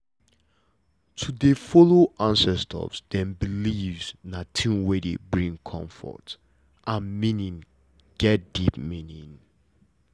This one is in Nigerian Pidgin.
to dey follow ancestors dem beliefs na thing wey dey bring comfort and meaning get deep meaning